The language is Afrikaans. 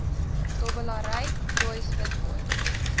dobbelary joyce witbooi